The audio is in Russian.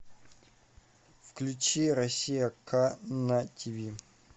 включи россия к на тиви